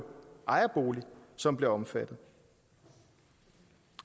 ejerbolig som bliver omfattet